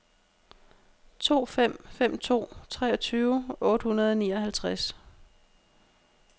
to fem fem to treogtyve otte hundrede og nioghalvtreds